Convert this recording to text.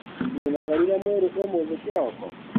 Nĩonogorire mwĩrĩ ũmũthĩ kĩroko?